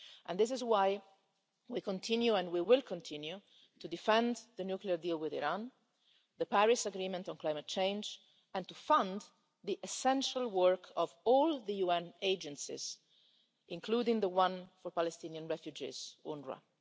That is why we continue and we will continue to defend the nuclear deal with Iran and the Paris Agreement on climate change, and to fund the essential work of all the UN agencies, including the one for Palestinian refugees, UNRWA.